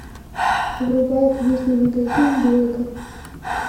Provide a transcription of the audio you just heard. врубай книжный магазин блэка